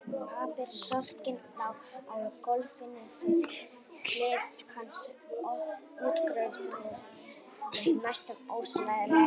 Pappírsörkin lá á gólfinu við hlið hans útkrotuð með næstum ólæsilegri skrift.